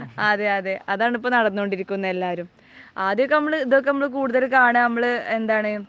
അതെ അതാണ് ഇപ്പോൾ നടന്നുകൊണ്ടിരിക്കുന്നത് എല്ലാവരും. ആദ്യമൊക്കെ ഇതൊക്കെ നമ്മൾ കൂടുതൽ കാണുക, നമ്മൾ എന്താണ്